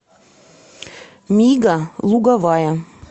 мига луговая